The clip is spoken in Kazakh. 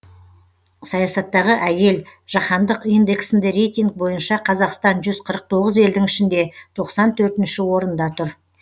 саясаттағы әйел жаһандық индексінде рейтинг бойынша қазақстан жүз қырық тоғыз елдің ішінде тоқсан төртінші орында тұр